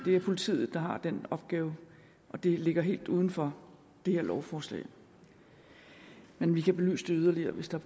er politiet der har den opgave og det ligger helt uden for det her lovforslag men vi kan belyse det yderligere hvis der